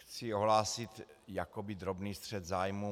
Chci ohlásit jakoby drobný střet zájmů.